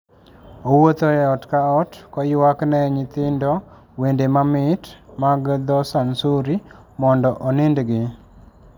Owuotho e ot ka ot koywakne nyithindo wende mamit mag dho Sansuri mondo onindgi.